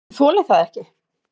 ÉG ÞOLI ÞAÐ EKKI!